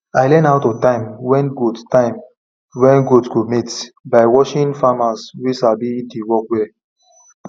i learn how to time when goat time when goat go mate by watching farmers wey sabi the work well